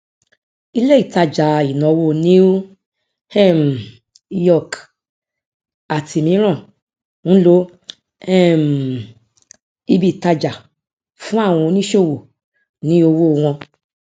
ilé ìtajà ìnáwó new um york àti mìíràn ń lo um ibi ìtajà fún àwọn oníṣòwò ní òwò wọn